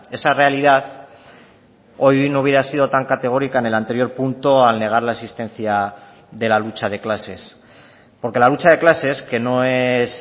esa realidad hoy no hubiera sido tan categórica en el anterior punto al negar la existencia de la lucha de clases porque la lucha de clases que no es